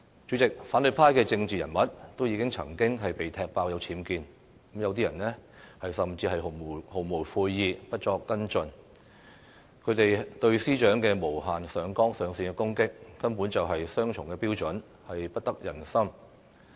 主席，反對派的政治人物也曾經被踢爆有僭建，有些人甚至毫無悔意，不作跟進，他們對司長的無限上綱上線的攻擊，根本是雙重標準，不得人心。